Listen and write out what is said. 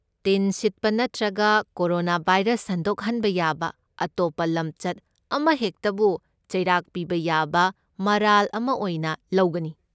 ꯇꯤꯟ ꯁꯤꯠꯄ ꯅꯠꯇ꯭ꯔꯒ ꯀꯣꯔꯣꯅꯥꯚꯥꯏꯔꯁ ꯁꯟꯗꯣꯛꯍꯟꯕ ꯌꯥꯕ ꯑꯇꯣꯞꯄ ꯂꯝꯆꯠ ꯑꯃꯍꯦꯛꯇꯕꯨ ꯆꯩꯔꯥꯛ ꯄꯤꯕ ꯌꯥꯕ ꯃꯔꯥꯜ ꯑꯃ ꯑꯣꯏꯅ ꯂꯧꯒꯅꯤ꯫